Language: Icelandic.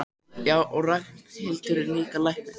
Já, og Ragnhildur er líka læknir.